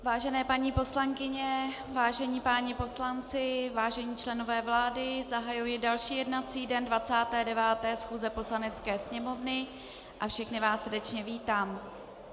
Vážené paní poslankyně, vážení páni poslanci, vážení členové vlády, zahajuji další jednací den 29. schůze Poslanecké sněmovny a všechny vás srdečně vítám.